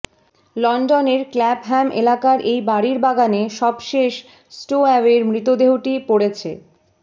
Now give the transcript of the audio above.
লন্ডনের ক্ল্যাপহ্যাম এলাকার এই বাড়ির বাগানে সবশেষ স্টোএ্যাওয়ের মৃতদেহটি পড়েছে